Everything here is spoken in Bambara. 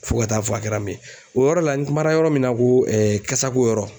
Fo ka taa fɔ a kɛra min ye o yɔrɔ la n kumana yɔrɔ min na ko kasako yɔrɔ